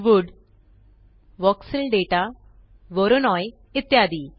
wood voxel data Voronoi इत्यादी